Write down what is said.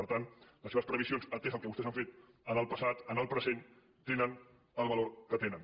per tant les seves previsions atès el que vostès han fet en el passat en el present tenen el valor que tenen